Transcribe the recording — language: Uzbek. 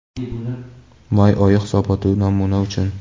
May oyi hisoboti namuna uchun.